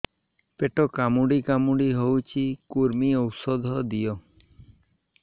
ପେଟ କାମୁଡି କାମୁଡି ହଉଚି କୂର୍ମୀ ଔଷଧ ଦିଅ